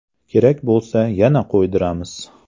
Kerak bo‘lsa yana qo‘ydiramiz.